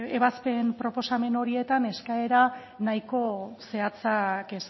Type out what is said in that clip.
ebazpen proposamen horietan eskaera nahiko zehatzak